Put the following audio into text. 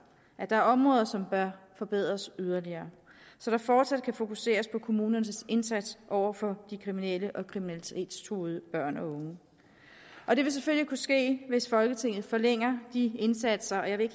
at der er områder som bør forbedres yderligere så der fortsat kan fokuseres på kommunernes indsats over for de kriminelle og kriminalitetstruede børn og unge og det vil selvfølgelig kunne ske hvis folketinget forlænger de indsatser og jeg vil